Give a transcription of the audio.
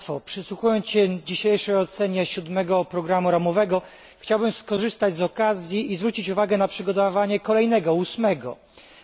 Przysłuchując się dzisiejszej ocenie siódmego programu ramowego, chciałbym skorzystać z okazji i zwrócić uwagę na przygotowania do kolejnego, ósmego programu.